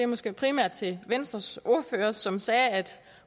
måske primært til venstres ordfører som sagde at